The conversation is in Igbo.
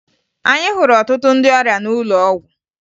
Anyị hụrụ ọtụtụ ndị ọrịa n'ụlọ ọgwụ